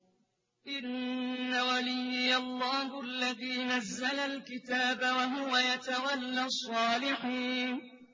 إِنَّ وَلِيِّيَ اللَّهُ الَّذِي نَزَّلَ الْكِتَابَ ۖ وَهُوَ يَتَوَلَّى الصَّالِحِينَ